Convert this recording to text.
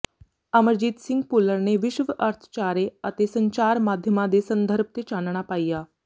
ਅਮਰਜੀਤ ਸਿੰਘ ਭੁੱਲਰ ਨੇ ਵਿਸ਼ਵ ਅਰਥਚਾਰੇ ਅਤੇ ਸੰਚਾਰ ਮਾਧਿਅਮਾਂ ਦੇ ਸੰਦਰਭ ਤੇ ਚਾਨਣਾ ਪਾਇਆ